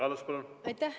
Aitäh!